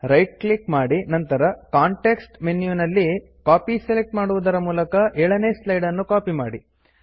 right click ಮಾಡಿ ನಂತರ context ಮೆನುವಲ್ಲಿ ಕಾಪಿ ಸೆಲೆಕ್ಟ್ ಮಾಡುವುದರ ಮೂಲಕ 7ನೆ ಸ್ಲೈಡ್ ನ್ನು ಕಾಪಿ ಮಾಡಿ